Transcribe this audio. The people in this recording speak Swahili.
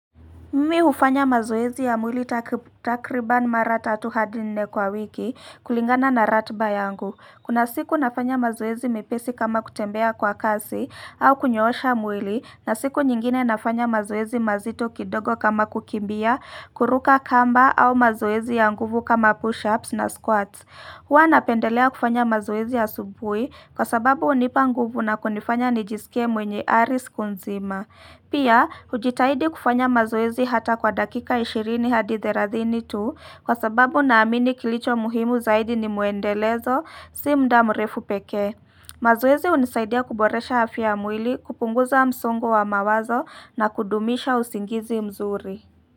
Mimi ufanya mazoezi ya mwili takriban mara tatu hadi nne kwa wiki kulingana na ratiba yangu. Kuna siku nafanya mazoezi mepesi kama kutembea kwa kasi au kunyoosha mwili na siku nyingine nafanya mazoezi mazito kidogo kama kukimbia, kuruka kamba au mazoezi ya nguvu kama push-ups na squats. HHwa napendelea kufanya mazoezi asubuhi kwa sababu unipa nguvu na kunifanya nijiskie mwenye aris kunzima. Pia, ujitahidi kufanya mazoezi hata kwa dakika 20 hadi 30 tu kwa sababu naamini kilicho muhimu zaidi ni muendelezo si muda mrefu pekee. Mazoezi unisaidia kuboresha afya ya mwili kupunguza msongo wa mawazo na kudumisha usingizi mzuri.